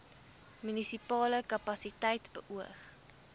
munisipale kapasiteit beoog